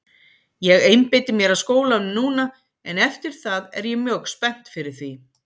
Ég einbeiti mér að skólanum núna en eftir það er ég mjög spennt fyrir því.